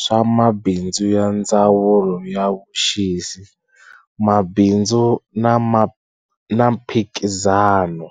swa mabindzu ya Ndzawulo ya Vuxisi, Mabindzu na Mphikizano.